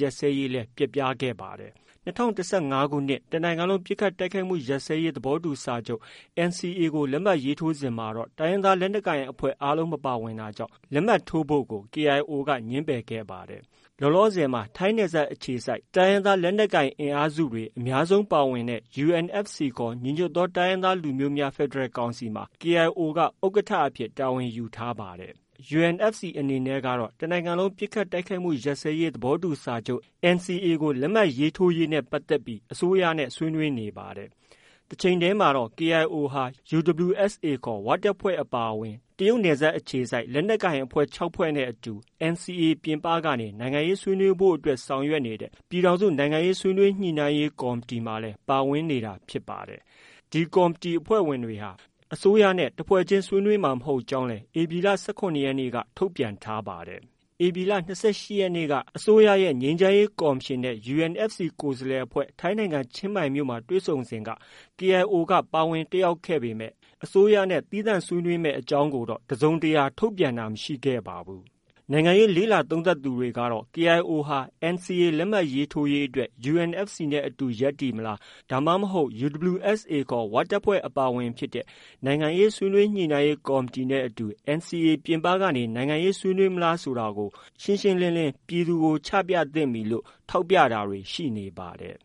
ရပ်စဲရေး ပျက်သွားခဲ့ပါတယ်။ ၂၀၁၅ခုနှစ် တနိုင်ငံလုံးပစ်ခတ်တိုက်ခိုက်မှုရပ်စဲရေးသဘောတူစာချုပ် NCA လက်မှတ်ရေးထိုးစဉ်မှာ တိုင်းရင်းသားလက်နက်ကိုင်အဖွဲ့ အားလုံးမပါဝင်တာကြောင့် လက်မှတ်ရေးထိုးဖို့ကို KIO က ငြင်းပယ်ခဲ့ပါတယ်။ လောလောဆည်မှာ ထိုင်းနယ်စပ်အခြေစိုက် တိုင်းရင်းသားလက်နက်ကိုင်အင်အားစုတွေအများဆုံးပါဝင်တဲ့ UNFC ခေါ် ညီညွတ်သောတိုင်းရင်းသားလူမျိုးများဖက်ဒရယ်ကောင်စီမှာ KIO က ဥက္ကဌအဖြစ် တာဝန်ယူထားတာပါ။ UNFC အနေနဲ့ကတော့ တနိုင်ငံလုံးပစ်ခတ်တိုက်ခိုက်မှုရပ်စဲရေးသဘောတူစာချုပ် NCA ကို လက်မှတ်ရေးထိုးနိုင်ရေးအတွက် အစိုးရနဲ့ဆွေးနွေးနေပါတယ်။ တချိန်တည်းမှာတော့ KIO အဖွ့ဲဟာ UWSA ခေါ် ဝတပ်ဖွဲ့အပါအဝင် တရုတ်နယ်စပ်အခြေစိုက် လက်နက်ကိုင်အဖွဲ့ ၆ဖွဲ့နဲ့ အတူ NCA ပြင်ပကနေ နိုင်ငံရေးဆွေးနွေးဖို့အတွက် ဆောင်ရွက်နေတဲ့ ပြည်ထောင်စု နိုင်ငံရေးဆွေးနွေးညှိနှိုင်းရေး ကော်မတီမှာလည်း ပါဝင်နေတာဖြစ်ပါတယ်။ ဒီကော်မတီအဖွဲ့ဝင်တွေဟာ အစိုးရနဲ့ တဖွဲ့ချင်း ဆွေးနွေးမှာ မဟုတ်ကြောင်းလည်း ဧပြီလ ၁၇ရက်နေ့က ထုတ်ပြန်ထားပါတယ်။ ဧပြီလ ၂၈ရက်နေ့က အစိုးရရဲ့ ငြိမ်းချမ်းရေးကော်မရှင်နဲ့ UNFC ကိုယ်စားလှယ်အဖွဲ့ ထိုင်းနိုင်ငံချင်းမိုင်မြို့မှာတွေ့ဆုံဆွေးနွေးစဉ်က KIO က ပါဝင် တက်ရောက်ခဲ့ပေမဲ့ အစိုးရနဲ့ သီးသန့်ဆွေးနွေးမယ့် ကိစ္စအကြောင်းကို တစုံတရာ ထုတ်ပြန်တာမရှိခဲ့ပါဘူး။ နိုင်ငံရေးလေ့လာသုံးသပ်သူတွေကတော့ KIOဟာ NCA လက်မှတ်ရေးထိုးရေးအတွက် UNFC အဖွဲ့နဲ့အတူ ရပ်တည်မလား၊ ဒါမှမဟုတ် UWSA ခေါ် ဝတပ်ဖွဲ့အပါအဝင်ဖြစ်တဲ့နိုင်ငံရေးဆွေးနွေးညှိနှိုင်းရေး ကော်မတီနဲ့ အတူ NCA ပြင်ပကနေ နိုင်ငံရေးဆွေးနွေးမလားဆိုတာကို ရှင်းရှင်းလင်းလင်း ပြည်သူကို ချပြသင့်ပြီလို့ ထောက်ပြတာတွေ ရှိနေပါတယ်